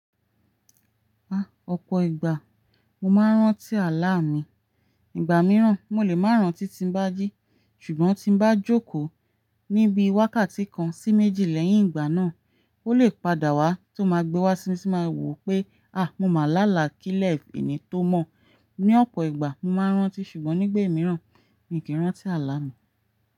Ah ọ̀pọ̀ ìgbà mo máa ń rántí àlá mi. Ìgbà mìíràn mo lè máa rántí tí n bá jí ṣùgbọ́n tí n bá jókòó níbi wákàtí kan sí méjì lẹ́yìn ìgbà náà, ó lè padà wá tó máa gbe wá sí mi tí máa wò pé ááà mo máa là láákìlẹ̀ ẹni tó mọ̀. Ní ọ̀pọ̀ ìgbà mo máa ń rántí ṣùgbọ́n nígbà mìíràn mi kì í rántí àlá mi.